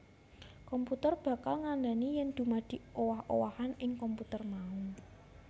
Komputer bakal ngandhani yèn dumadi owah owahan ing komputer mau